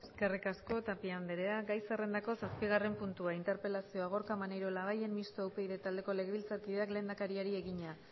eskerrik asko tapia andrea gai zerrendako zazpigarren puntua interpelazioa gorka maneiro labayen mistoa upyd taldeko legebiltzarkideak lehendakariari egina